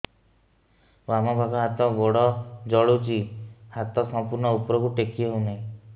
ବାମପାଖ ହାତ ଗୋଡ଼ ଜଳୁଛି ହାତ ସଂପୂର୍ଣ୍ଣ ଉପରକୁ ଟେକି ହେଉନାହିଁ